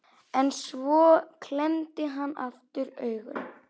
En svo klemmdi hann aftur augun.